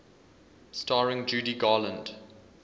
starring judy garland